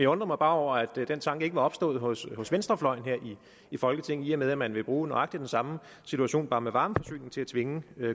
undrer mig bare over at den tanke ikke var opstået hos hos venstrefløjen her i folketinget i og med at man vil bruge nøjagtig den samme situation bare med varmeforsyning til at tvinge